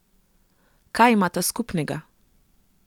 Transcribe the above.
Kaj imata skupnega?